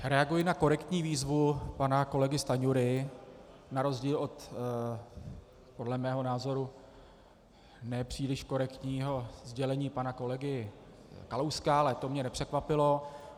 Reaguji na korektní výzvu pana kolegy Stanjury, na rozdíl od podle mého názoru nepříliš korektního sdělení pana kolegy Kalouska, ale to mě nepřekvapilo.